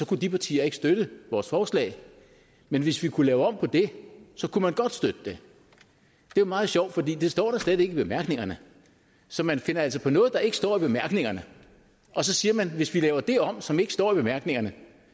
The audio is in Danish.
kunne de partier ikke støtte vores forslag men hvis vi kunne lave om på det så kunne man godt støtte det det er meget sjovt for det står der slet ikke i bemærkningerne så man finder altså på noget der ikke står i bemærkningerne og så siger man at hvis vi laver det om som ikke står i bemærkningerne